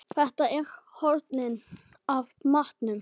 Þetta eru hornin af matnum!